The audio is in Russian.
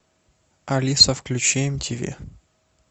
алиса включи эм ти ви